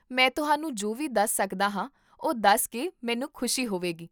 ਮੈਂ ਤੁਹਾਨੂੰ ਜੋ ਵੀ ਦੱਸ ਸਕਦਾ ਹਾਂ ਉਹ ਦੱਸ ਕੇ ਮੈਨੂੰ ਖੁਸ਼ੀ ਹੋਵੇਗੀ